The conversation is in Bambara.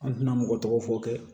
An tɛna mɔgɔ tɔgɔ fɔ kɛ